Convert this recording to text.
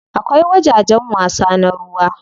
Akwai wajajen wasa na ruwa.